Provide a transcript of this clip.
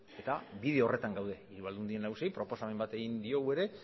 eta bide horretan gaude hiru aldundi nagusiei proposamen bat egin diegu ere